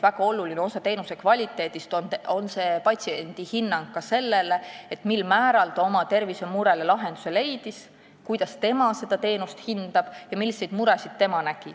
Väga oluline osa teenuse kvaliteedist on ka patsiendi hinnang sellele, mil määral ta leidis lahenduse oma tervisemurele, kuidas ta seda teenust hindab ja milliseid muresid ta näeb.